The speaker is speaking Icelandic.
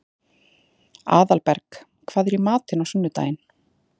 Aðalberg, hvað er í matinn á sunnudaginn?